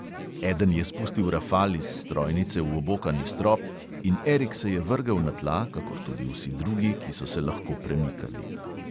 Eden je spustil rafal iz strojnice v obokani strop in erik se je vrgel na tla, kakor tudi vsi drugi, ki so se lahko premikali.